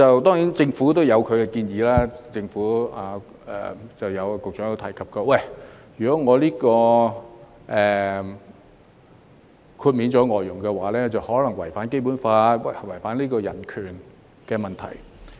當然，政府有其見解，局長亦曾提及，如果豁除外傭可能違反《基本法》，出現違反人權的問題。